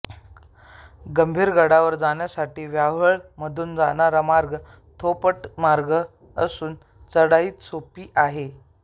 गंभीरगडावर जाण्यासाठी व्याहाळी मधून जाणारा मार्ग धोपटमार्ग असून चढाईही सोपी आहे